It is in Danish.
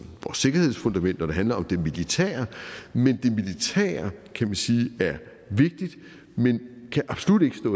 vores sikkerhedsfundament når det handler om det militære er kan vi sige vigtigt men kan absolut ikke